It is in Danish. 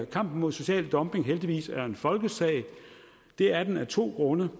kampen mod social dumping heldigvis er en folkesag det er den af to grunde